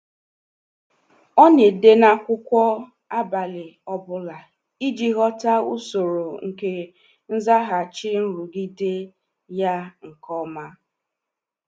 Ọ na-ede n'akwụkwọ abalị ọ bụla iji ghọta usoro nke nzaghachi nrụgide ya nke ọma.